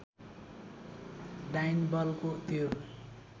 डाइन बलको त्यो